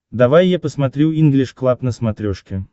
давай я посмотрю инглиш клаб на смотрешке